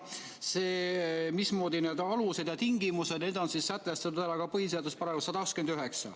Need alused ja tingimused on sätestatud ka põhiseaduse §‑s 129.